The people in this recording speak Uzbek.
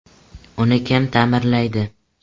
Uni kim ta’mirlaydi?.